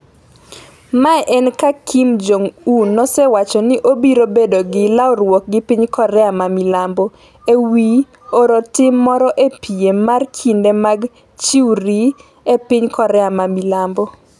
Mae en ka Kim Jong un nosewacho ni obiro bedo gi lalruok gi piny Korea ma milambo ewi oro tim moro e piem mar kinde mag chwiri e piny Korea ma milambo.